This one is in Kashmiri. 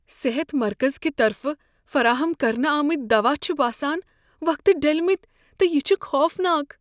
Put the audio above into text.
صحت مرکز کہ طرفہٕ فراہم کرنہٕ آمٕتۍ دوا چھ باسان وقتہ ڈلمتۍ تہٕ یہ چھ خوفناک۔